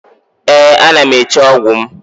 Ee, ana m eche ọgwụ m